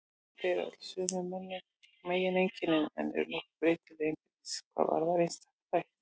Þau bera öll sömu megineinkennin en eru nokkuð breytileg innbyrðis hvað varðar einstaka þætti.